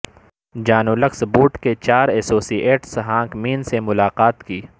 جان Wilkes Booth کے چار associates hangman سے ملاقات کی